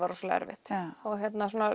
rosalega erfitt